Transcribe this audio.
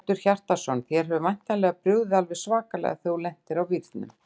Hjörtur Hjartarson: Þér hefur væntanlega brugðið alveg svakalega þegar þú lendir á vírnum?